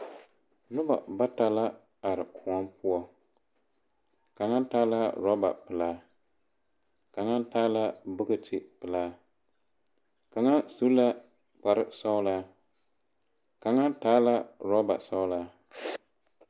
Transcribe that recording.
Noba bata la are kõͻ poͻ. Kaŋa taa la orͻba pelaa, kaŋa taa la bogoti pelaa, kaŋa su la kpare sͻgelaa kaŋa taa la orͻba sͻgelaa.